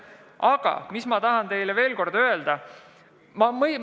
Aga mis ma tahan teile veel kord öelda?